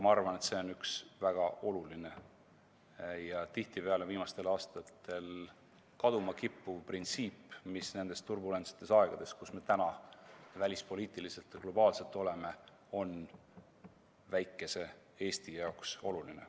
Ma arvan, et see on üks väga oluline ja tihtipeale viimastel aastatel kaduma kippuv printsiip, mis nendel turbulentsetel aegadel, kus me välispoliitiliselt ja globaalselt oleme, on väikese Eesti jaoks oluline.